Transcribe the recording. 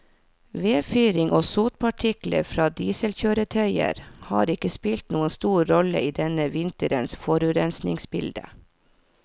Vedfyring og sotpartikler fra dieselkjøretøyer har ikke spilt noen stor rolle i denne vinterens forurensningsbilde.